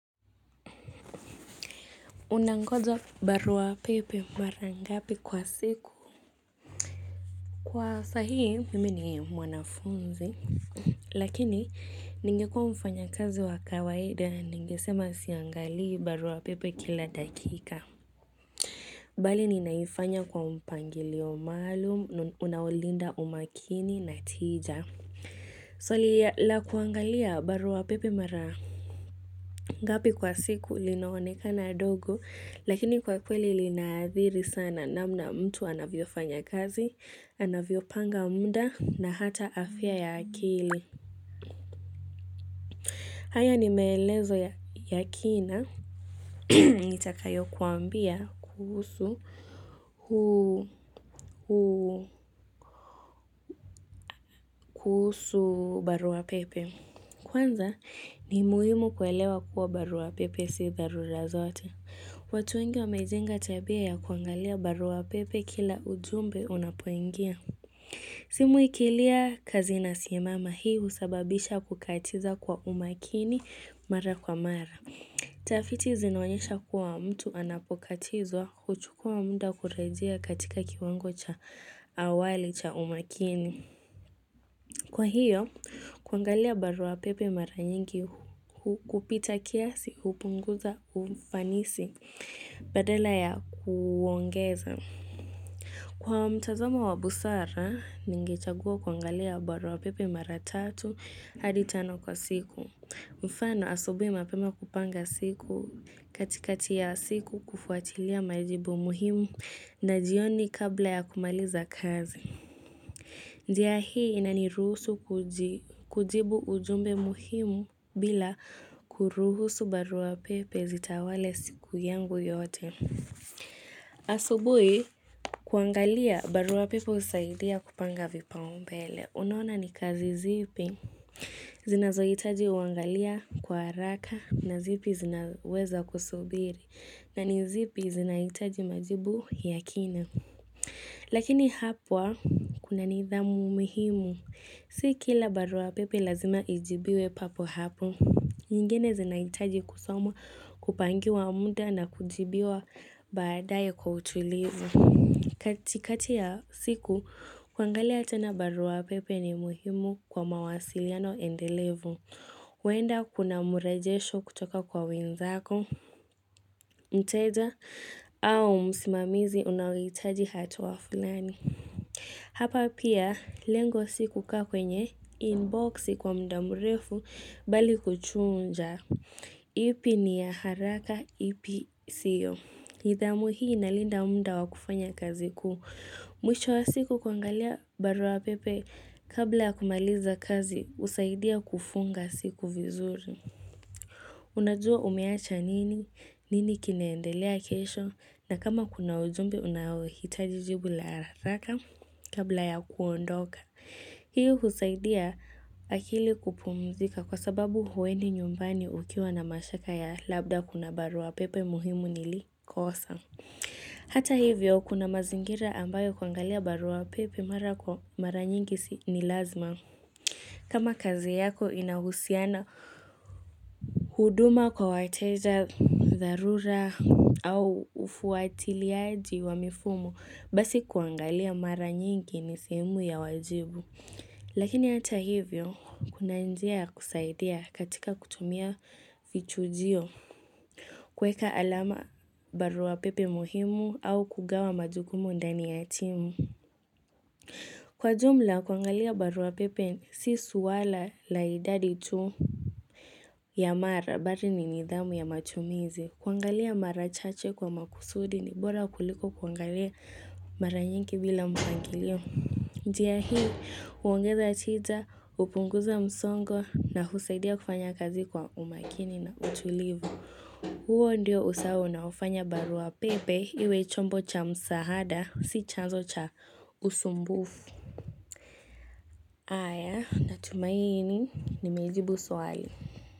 Unangoja barua pepe mara ngapi kwa siku? Kwa sahii, mimi ni mwanafunzi. Lakini, ningekuwa mfanyakazi wa kawaida, ningesema siangalii barua pepe kila dakika. Bali, ninaifanya kwa mpangilio maalum, unaolinda umakini na tija. Swali, la kuangalia barua pepe mara ngapi kwa siku, linaonekana dogo. Lakini kwa kweli linaathiri sana namna mtu anavyo fanyakazi, anavyo panga muda na hata afya ya akili. Haya ni meelezo ya kina nitakayo kuambia kuhusu kuhusu barua pepe. Kwanza ni muhimu kuelewa kuwa barua pepe si dharula zote. Watu wengi wamejenga tabia ya kuangalia barua pepe kila ujumbe unapoingia. Simu ikilia kazi inasimama hii husababisha kukatiza kwa umakini mara kwa mara. Tafiti zinaonyesha kuwa mtu anapokatizwa huchukua muda kurejea katika kiwango cha awali cha umakini. Kwa hiyo, kuangalia barua pepe mara nyingi kupita kiasi hupunguza ufanisi badala ya kuuongeza. Kwa mtazamo wa busara, ningechagua kuangalia barua pepe mara tatu hadi tano kwa siku. Mfano asubuhi mapema kupanga siku katikati ya siku kufuatilia majibu muhimu na jioni kabla ya kumaliza kazi. Njia hii inaniruhusu kujibu ujumbe muhimu bila kuruhusu barua pepe zitawale siku yangu yote. Asubuhi kuangalia barua pepe husaidia kupanga vipaumbele. Unaona ni kazi zipi. Zinazohitaji uangalia kwa haraka na zipi zinaweza kusubiri. Na ni zipi zinahitaji majibu ya kina. Lakini hapa kuna nidhamu muhimu. Si kila barua pepe lazima ijibiwe papo hapo. Nyingine zinaitaji kusomwa kupangiwa muda na kujibiwa baadae kwa utulivu. Katikati ya siku, kuangalia tena barua pepe ni muhimu kwa mawasiliano endelevu. Huenda kuna mrejesho kutoka kwa wenzako, mteja au msimamizi unaohitaji hatua fulani. Hapa pia, lengo si kukaa kwenye inboxi kwa muda mrefu bali kuchunja. Ipi ni ya haraka ipi siyo. Nidhamu hii inalinda muda wa kufanya kazi kuu Mwisho wa siku kuangalia barua pepe kabla ya kumaliza kazi husaidia kufunga siku vizuri. Unajua umeacha nini, nini kinaendelea kesho na kama kuna ujumbe unaohitaji jibu la haraka kabla ya kuondoka. Hii husaidia akili kupumzika kwa sababu huendi nyumbani ukiwa na mashaka ya labda kuna barua pepe muhimu nilikosa. Hata hivyo kuna mazingira ambayo kuangalia barua pepe mara kwa mara nyingi ni lazima. Kama kazi yako inahusiana huduma kwa wateja dharura au ufuatiliaji wa mifumo basi kuangalia mara nyingi ni sehemu ya wajibu. Lakini hata hivyo, kuna njia ya kusaidia katika kutumia vichujio kuweka alama barua pepe muhimu au kugawa majukumu ndani ya timu. Kwa jumla, kuangalia barua pepe si suala la idadi tu ya mara bali ni nidhamu ya matumizi. Kuangalia mara chache kwa makusudi ni bora kuliko kuangalia mara nyingi bila mpangilio. Njia hii, huongeza tija, hupunguza msongo na husaidia kufanya kazi kwa umakini na utulivu. Huo ndio usawa unaofanya barua pepe iwe chombo cha msaada si chanzo cha usumbufu. Aya natumaini nimejibu swali.